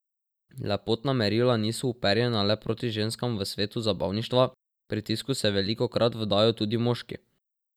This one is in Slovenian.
Lepotna merila niso uperjena le proti ženskam v svetu zabavništva, pritisku se velikokrat vdajo tudi moški.